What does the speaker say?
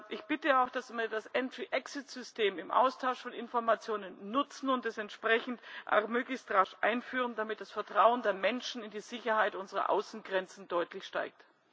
Ich bitte auch, dass wir das entry exit system im Austausch von Informationen nutzen und es entsprechend möglichst rasch einführen, damit das Vertrauen der Menschen in die Sicherheit unserer Außengrenzen deutlich steigt.